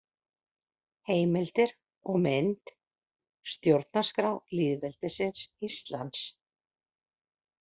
Heimildir og mynd: Stjórnarskrá lýðveldisins Íslands.